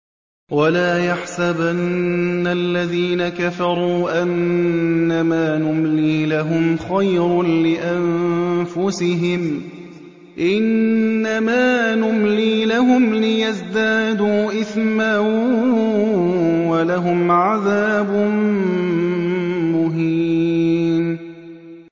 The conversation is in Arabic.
وَلَا يَحْسَبَنَّ الَّذِينَ كَفَرُوا أَنَّمَا نُمْلِي لَهُمْ خَيْرٌ لِّأَنفُسِهِمْ ۚ إِنَّمَا نُمْلِي لَهُمْ لِيَزْدَادُوا إِثْمًا ۚ وَلَهُمْ عَذَابٌ مُّهِينٌ